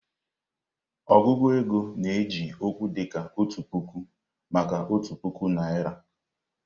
Ọgụgụ ego na-eji okwu dịka "Otu Puku" maka otu puku naịra.